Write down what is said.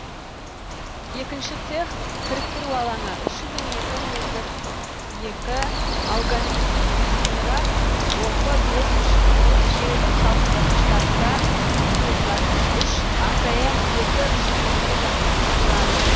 екінші цех кіріктіру алаңы үш жүз екі метр екі агломерат оп бес үш жүз он бес желілік салқындатқыштарында суытылатын үш акм екі үш жүз он екі жабдығынан тұрады